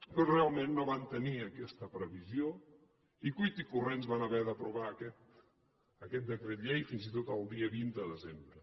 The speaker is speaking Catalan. però realment no van tenir aquesta previsió i a cuita corrents van haver d’aprovar aquest decret fins i tot el dia vint de desembre